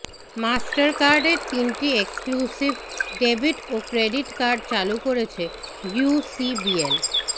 মাস্টারকার্ডের তিনটি exclusive debit ও credit card চালু করেছে ইউসিবিএল